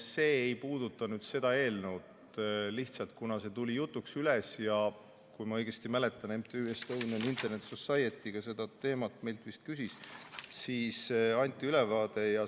See ei puuduta seda eelnõu, lihtsalt kuna see tuli jutuks üles ja kui ma õigesti mäletan, siis MTÜ Estonian Internet Society seda meilt küsis ja nii anti ülevaade.